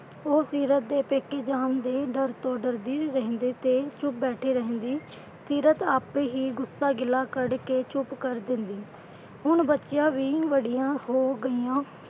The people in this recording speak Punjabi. ਉਹ ਸੀਰਤ ਦੇ ਪੇਕੇ ਜਾਣ ਤੋਂ ਡਰ ਤੋਂ ਡਰਦੇ ਰਹਿੰਦੇ ਤੇ ਚੁੱਪ ਬੈਠੇ ਰਹਿੰਦੀ। ਸੀਰਤ ਆਪੇ ਹੀ ਗੁੱਸਾ ਗਿਲਾ ਕੱਢ ਕੇ ਚੁੱਪ ਕਰ ਦਿੰਦੀ। ਹੁਣ ਬੱਚੀਆਂ ਵੀ ਵੱਡੀਆਂ ਹੋ ਗਈਆਂ।